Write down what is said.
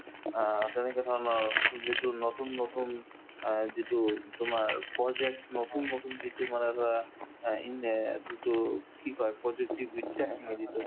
অ, তেনেকে ধৰণৰ যিটো নতুন নতুন অ যিটো তোমাৰ project নতুন নতুন যিটো মানে ধৰা অ ইন অ যিটো কি কই প্ৰযুক্তিবিদ্যা